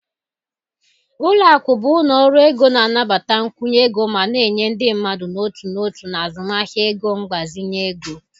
Ụlọ akụ bụ ụlọ ọrụ ego na-anabata nkwụnye ego ma na-enye ndị mmadụ n'otu n'otu na azụmahịa ego mgbazinye ego.